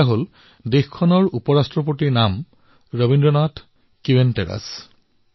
চিলিৰ চিনেটৰ উপ ৰাষ্ট্ৰপতিৰ নাম ৰবীন্দ্ৰনাথ কিণ্টেৰাছ হয়